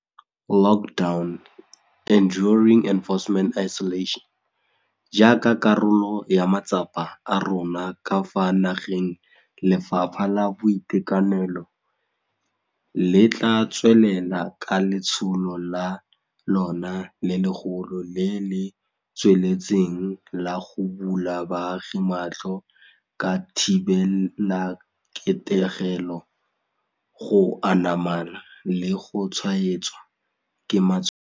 Jaaka karolo ya matsapa a rona ka fa nageng Lefapha la Boitekanelo le tla tswelela ka letsholo la lona le legolo le le tsweletseng la go bula baagi matlho ka thibelaketegelo, go anama le go tshwaetswa ke matshwao.